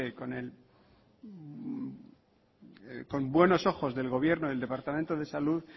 con buenos ojos del gobierno y del departamento de salud